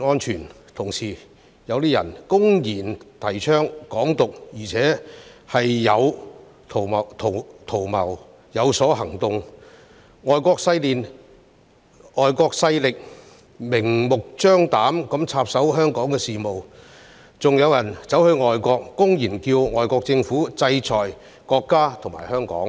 此外，有人公然提倡"港獨"圖謀之餘，亦有所行動，外國勢力更藉機明目張膽地插手香港的事務；也有人走到外國，公然叫外國政府制裁國家和香港。